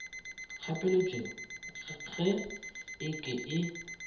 kgapeletšo ga e ke e